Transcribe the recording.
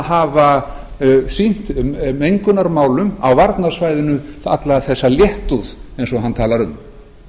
hafa sýnt mengunarmálum á varnarsvæðinu alla þessa léttúð eins og hann talar um